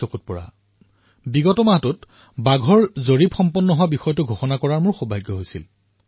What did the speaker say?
যোৱা মাহত মই দেশৰ ব্যাঘ্ৰ সংখ্যা জাৰী কৰা সৌভাগ্য লাভ কৰিলো